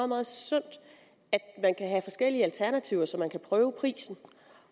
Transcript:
meget sundt at man kan have forskellige alternativer så man kan prøve prisen